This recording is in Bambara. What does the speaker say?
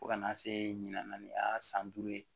Fo ka na se ɲina y'a san duuru ye